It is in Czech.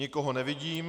Nikoho nevidím.